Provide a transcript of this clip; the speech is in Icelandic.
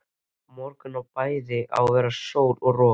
Á morgun á bæði að vera sól og rok.